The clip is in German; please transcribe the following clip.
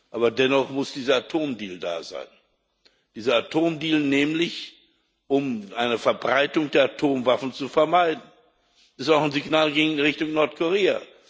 Aber dennoch muss dieser Atomdeal da sein. Dieser Atomdeal ist nämlich, um eine Verbreitung der Atomwaffen zu vermeiden, auch ein Signal in Richtung Nordkorea.